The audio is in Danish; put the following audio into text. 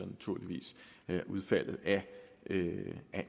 naturligvis af udfaldet af